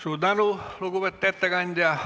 Suur tänu, lugupeetud ettekandja!